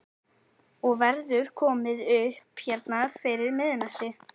Og verður komið upp hérna fyrir miðnætti?